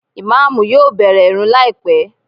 Ìmáàmù yóò bẹ̀rẹ̀ ìrun láìpé